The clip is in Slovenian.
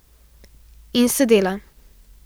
In sedela.